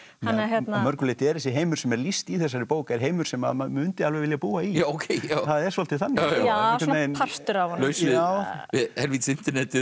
að mörgu leyti er þessi heimur sem er lýst í þessari bók er heimur sem að maður mundi alveg vilja búa í það er svolítið þannig ja svona partur af laus við helvítis internetið og